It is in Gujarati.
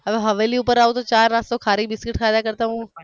હવે હવેલી ઉપર આવો છો તો ચા નાસ્તો ખારી બિસ્કિટ ખાવા કરતા હું